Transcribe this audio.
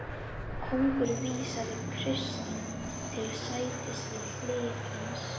Konungur vísaði Christian til sætis við hlið hans.